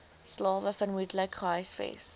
slawe vermoedelik gehuisves